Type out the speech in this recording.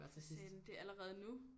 Nå for satan det er allerede nu